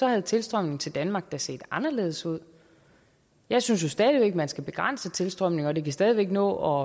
havde tilstrømningen til danmark da set anderledes ud jeg synes jo stadig væk at man skal begrænse tilstrømningen og det kan stadig væk nå